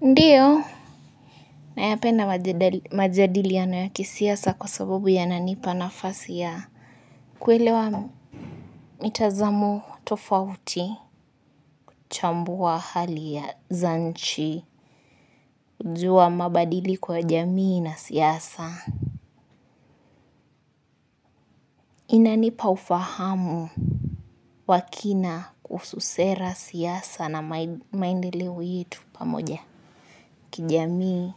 Ndiyo, nayapenda majadiliano ya kisiasa kwa sabubu yananipa nafasi ya kuelewa mitazamu tofauti, kuchambua hali za nchi, kujua mabadili kwa jamii na siasa. Inanipa ufahamu wa kina kuhusu sera, siasa na maendeleo yetu pamoja. Kijamii.